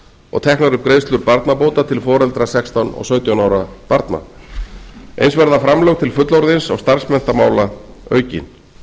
og teknar upp greiðslur barnabóta til foreldra sextán og sautján ára barna eins verða framlög til fullorðins og starfsmenntamála aukin